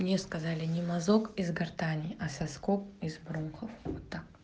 мне сказали не мазок из гортани а соскоб из бронхов